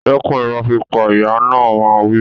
Dẹ́kun ìrọ́ pípa! Ìyá náà máa ń wí.